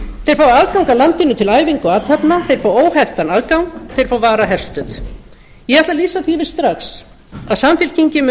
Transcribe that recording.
þeir fá aðgang að landinu til æfinga og athafna þeir fá óheftan aðgang þeir fá varaherstöð ég ætla að lýsa því yfir strax að samfylkingin